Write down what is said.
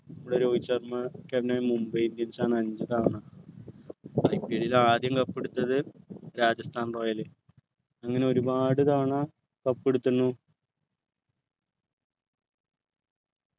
ഇവിടെ Rohit Sharma captain Mumbai indians ആണ് അഞ്ചു തവണ IPL ൽ ആദ്യം cup എടുത്തത് രാജസ്ഥാനി royal അങ്ങനെ ഒരുപാട് തവണ cup എടുത്തുന്നു